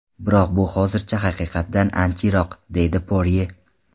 Biroq bu hozircha haqiqatdan ancha yiroq”, deydi Porye.